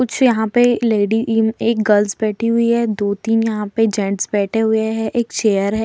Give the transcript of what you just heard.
कुछ यहाँ पे लेडी इ एक गर्ल्स बैठी हुई है। दो तीन यहाँ पे जेन्ट्स बैठे हुए है। एक चेयर है।